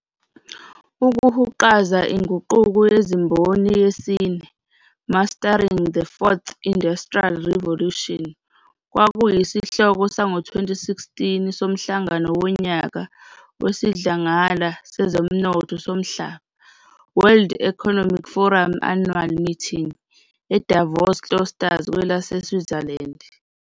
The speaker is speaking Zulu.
"Ukuhuqaza iNguquko yeziMboni yesine" "Mastering the Fourth Industrial Revolution" kwakuyisihloko sango-2016 soMhlangano woNyaka wesiDlangala sezoMnotho soMhlaba "World Economic Forum Annual Meeting", e-Davos-Klosters, kwelase-Switzerland.